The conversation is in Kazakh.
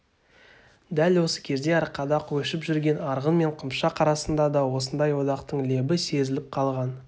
дәл осы кезде арқада көшіп жүрген арғын мен қыпшақ арасында да осындай одақтың лебі сезіліп қалған